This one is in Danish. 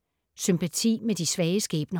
Sympati med de svage skæbner